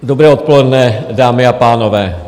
Dobré odpoledne, dámy a pánové.